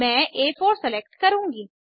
मैं आ4 सेलेक्ट करुँगी